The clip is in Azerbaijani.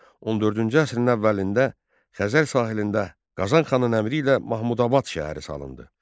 14-cü əsrin əvvəlində Xəzər sahilində Qazanxanın əmri ilə Mahmudabad şəhəri salındı.